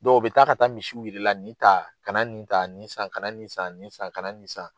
Dɔw u bɛ taa ka taa misiw yɛrɛ i la nin ta kana nin ta nin san kana nin san nin san kana nin san.